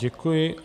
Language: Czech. Děkuji.